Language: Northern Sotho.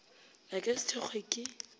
a ka se thekgwe ke